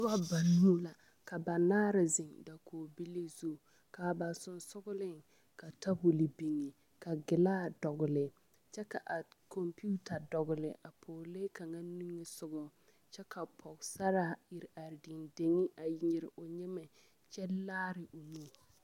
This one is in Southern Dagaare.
Noba banuu la ka banaare zeŋ dakogibilii zu ka ba sensogleŋ ka tabol biŋ ka gilaa dɔgle kyɛ k,a kɔmpeta dɔgle a pɔglee kaŋa niŋesogɔ kyɛ ka pɔgesaraa iri are dendeŋ a nyere o nyemɛ kyɛ laare o nu.